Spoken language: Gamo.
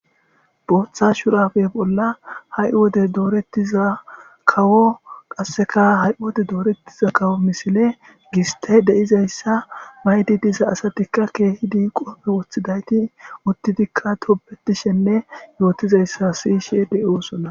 booththa shurafe bolla ha7i wode doorettiza kawo qasseka ha7 wode doorettiza kawo misile giste deizayssa maydi disa asatikka keehidi qoofe woththidayti uttitikka tobetishenne yootizayssa siyishe de7oosona